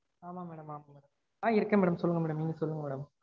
ஆமா madam ஆமா madam ஆஹ் இருக்கேன் madam சொல்லுங்க madam நீங்க சொல்லுங்க madam